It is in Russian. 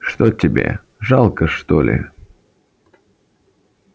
что тебе жалко что ли